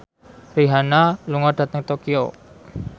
Rihanna lunga dhateng Tokyo